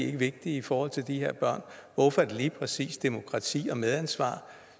ikke vigtige i forhold til de her børn hvorfor er det lige præcis demokrati og medansvar